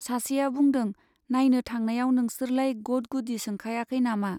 सासेया बुंदों, नाइनो थांनायाव नोंसोरलाय गद-गुदि सोंखायाखै नामा ?